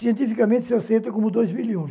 Cientificamente, se aceita como dois mil e um.